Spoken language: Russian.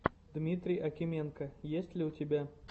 дмитрий акименко есть ли у тебя